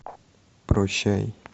прощай